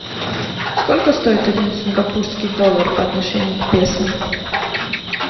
сколько стоит один сингапурский доллар по отношению к песо